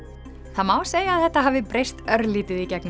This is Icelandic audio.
það má segja að þetta hafi breyst örlítið í gegnum